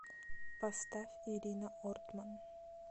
поставь ирина ортман